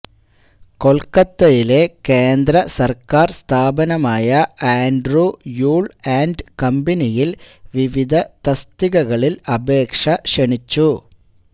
കൊൽക്കത്തയിലെ കേന്ദ്രസർക്കാർ സ്ഥാപനമായ ആൻഡ്ര്യൂ യൂൾ ആൻഡ് കമ്പനിയിൽ വിവിധ തസ്തികകളിൽ അപേക്ഷ ക്ഷണിച്ചു